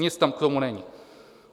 Nic tam k tomu není.